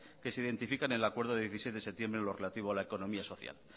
que se identifican en el acuerdo del dieciséis de septiembre en lo relativo a la economía social